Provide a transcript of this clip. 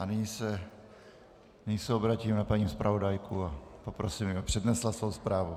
A nyní se obrátím na paní zpravodajku a poprosím, aby přednesla svou zprávu.